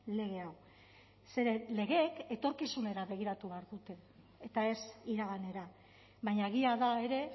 lege hau zeren legeek etorkizunera begiratu behar dute eta ez iraganera baina egia da ere